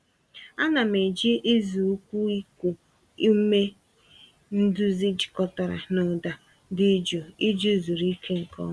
Ana m eji ịzụ ụkwụ iku ume nduzi jikọtara na ụda dị jụụ iji zuru ike nke ọma.